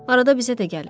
Arada bizə də gəlir.